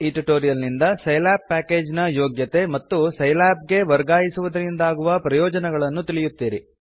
ಈ ಟ್ಯುಟೋರಿಯಲ್ ನಿಂದ Scilab package ನ ಯೋಗ್ಯತೆ ಮತ್ತು ಸೈಲ್ಯಾಬ್ ಗೆ ವರ್ಗಾಯಿಸುವುದರಿಂದಾಗುವ ಪ್ರಯೊಜನಗಳನ್ನು ತಿಳಿಯುತ್ತೀರಿ